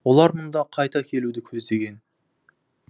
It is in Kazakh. олар мұнда қайта келуді көздеген